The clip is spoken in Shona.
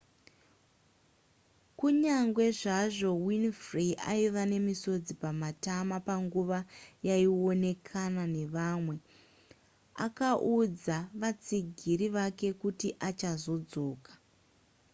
kunyange zvazvo winfrey aiva nemisodzi pamatama panguva yaaionekana nevamwe akaudza vatsigiri vake kuti achazodzoka